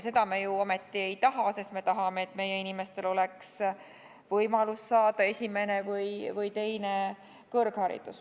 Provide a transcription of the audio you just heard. Seda me ju ometi ei taha, sest me tahame, et meie inimestel oleks võimalus saada esimene või teine kõrgharidus.